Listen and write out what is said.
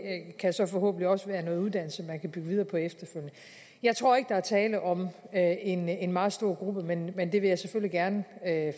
kan så forhåbentlig også være noget uddannelse man efterfølgende kan bygge videre på jeg jeg tror ikke der er tale om en en meget stor gruppe men men det vil jeg selvfølgelig gerne